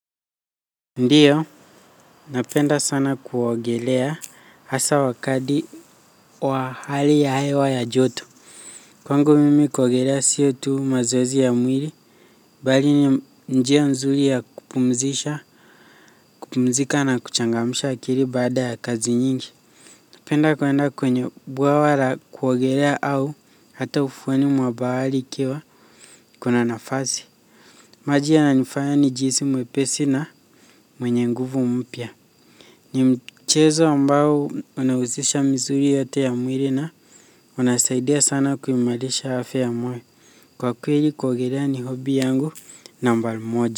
Ndiyo, napenda sana kuogelea hasa wakadi wa hali ya hewa ya joto. Kwangu mimi kuogelea sio tu mazoezi ya mwiri, bali ni njia nzuli ya kupumzisha kupumzika na kuchangamsha akiri baada ya kazi nyingi. Napenda kwenda kwenye bwawa ra kuogelea au hata ufuweni mwa bahali ikiwa kuna nafazi. Maji yananifaya nijiisi mwepesi na mwenye nguvu mpya. Ni mchezo ambao unahuzisha misuri yote ya mwiri na unasaidia sana kuimalisha afya ya mwiri kwa kweli kuogelea ni hobi yangu nambal moja.